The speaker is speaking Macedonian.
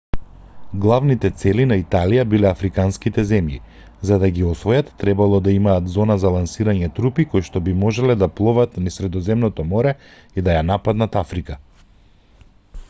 главните цели на италија биле африканските земји за да ги освојат требало да имаат зона за лансирање трупи коишто би можеле да пловат низ средоземното море и да ја нападнат африка